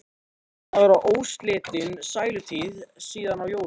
Búin að vera óslitin sælutíð síðan á jólunum.